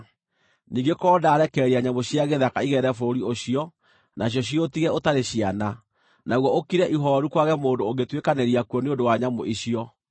“Ningĩ korwo ndarekereria nyamũ cia gĩthaka igerere bũrũri ũcio nacio ciũtige ũtarĩ ciana, naguo ũkire ihooru kwage mũndũ ũngĩtuĩkanĩria kuo nĩ ũndũ wa nyamũ icio,